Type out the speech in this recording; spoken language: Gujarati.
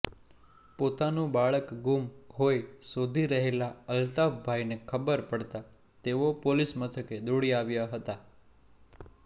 પોતાનું બાળક ગુમ હોઇ શોધી રહેલા અલ્તાફભાઇને ખબર પડતાં તેઓ પોલીસ મથકે દોડી આવ્યા હતા